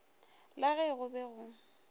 la ge go be go